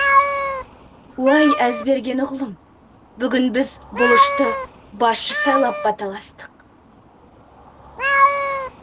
уай әзберген ұғлым бүгін біз бұлышты басшы сайлап баталастық